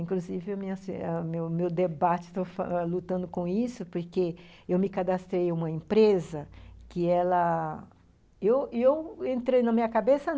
Inclusive, a minha, o meu meu debate, estou lutando com isso, porque eu me cadastrei em uma empresa que ela... E eu e eu entrei na minha cabeça?